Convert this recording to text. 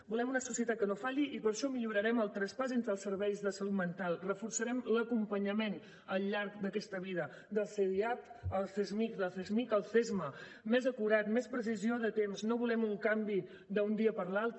volem una societat que no falli i per això millorarem el traspàs entre els serveis de salut mental reforçarem l’acompanyament al llarg d’aquesta vida del cdiap al csmij del csmij al csma més acurat més precisió de temps no volem un canvi d’un dia per l’altre